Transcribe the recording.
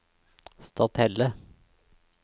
Stathelle